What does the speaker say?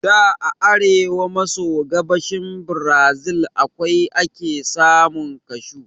Da a arewa maso gabashin Brazil kawai ake samun Kashu